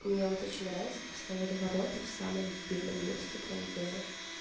мне вот очень нравится поставили ворота в самом дебильном месте там где